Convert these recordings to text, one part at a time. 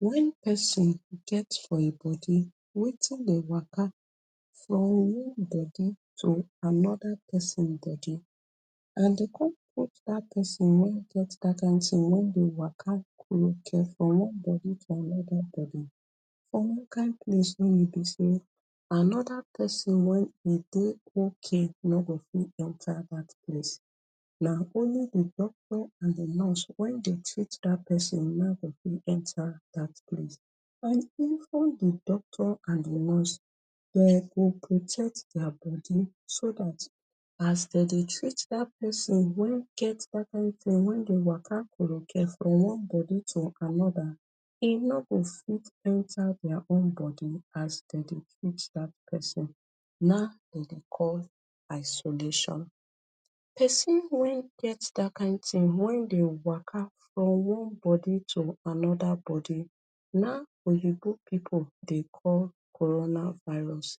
When person get for im body wetin Dey waka from one body to another person body and de come put dat person wey get dat kin tin wan Dey waka koruke from one body to another body for one kin place wey b sey another person wey e Dey okay no go fit enter dat place na only the doctor and the nurse wey Dey treat dat person na in go fit enter dat place and even de doctor and de nurse dem go protect dia body so dat as dem Dey treat dat person wey get dat kin thing wey Dey waka koruke from one body to another e no go fit enter dia own body as dem Dey treat the person na dem Dey call isolation person wey get dat kain thing wey Dey waka from one body to another body na oyinbo pipu Dey call corona virus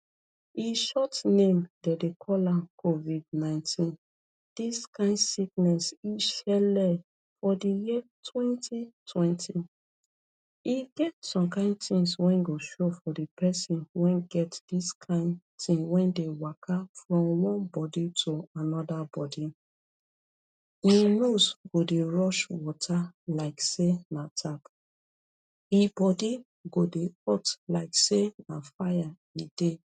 in short name dem Dey call am covid 19 dis kain sickness im shelle for de year 2020 e get some kain things wey go show for de person wey get dis kin tin wey Dey waka from one body to another body im nose go Dey rush water like say na tap im body go Dey hot like say na fire e Dey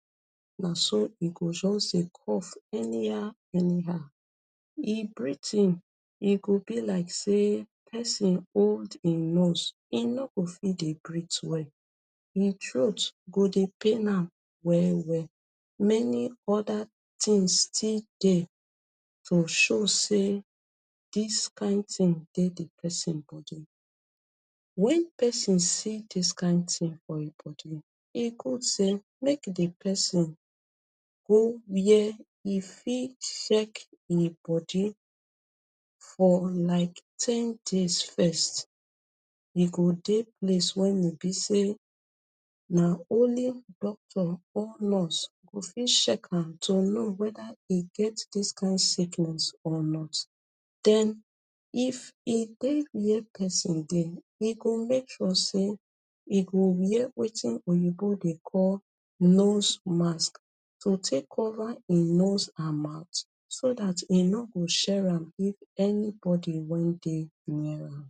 na so e go just Dey cough anyhow anyhow im breathing e go be like say person hold in nose im no go fit Dey breath well im throat go Dey pain am well well many oda things still Dey to show sey dis kin tin Dey de person body when person see dis kin tin for im body e good say make di person go where e fit check im body for like ten days first im go go place wey b say na only doctor or nurse go fit check am to know wether im get dis kin sickness or not den if e Dey near person den e go make sure say e wear wetin oyinbo Dey call nose mask to take cover im nose and mouth so dat im no go share am to anybody wey dey near am.